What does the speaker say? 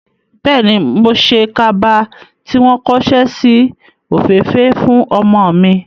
Bẹ́ẹ̀ni, mo ṣe kaba tí wọ́n kóṣẹ́ si òféèfèé fún ọmọ mi.